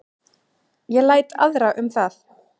Ég læt aðra um það